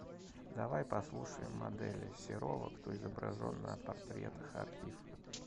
давай послушаем моделей серова кто изображен на портретах архив